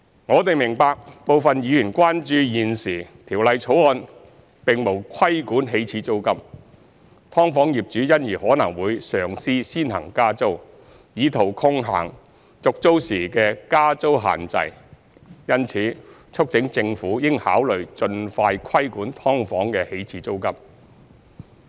我們明白，部分議員關注現時《條例草案》沒有規管起始租金，"劏房"業主因而可能會嘗試先行加租，以圖抗衡續租時的加租限制，因此促請政府應考慮盡快規管"劏房"的起始租金。